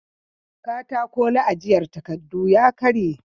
Katako na ajiyan takardu ya karye